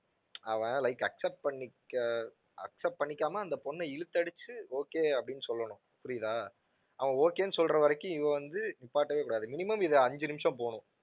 அவன் like accept பண்ணிக்க accept பண்ணிக்காம அந்தப் பெண்ணை இழுத்தடிச்சு okay அப்படின்னு சொல்லணும், புரியுதா. அவன் okay ன்னு சொல்ற வரைக்கும் இவள் வந்து நிப்பாட்டவே கூடாது, minimum இது அஞ்சு நிமிஷம் போகணும்.